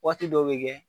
Waati dɔw bɛ kɛ